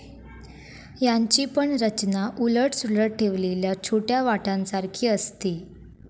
याची पण रचना उलट सुलट ठेवलेल्या छोट्या वाट्यांसारखी असते.